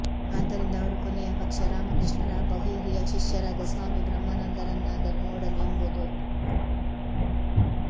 ಆದ್ದರಿಂದ ಅವರು ಕೊನೆಯ ಪಕ್ಷ ರಾಮಕೃಷ್ಣರ ಬಹುಹಿರಿಯ ಶಿಷ್ಯರಾದ ಸ್ವಾಮಿ ಬ್ರಹ್ಮಾನಂದರನ್ನಾದರೂ ನೋಡಲಿ ಎಂಬುದು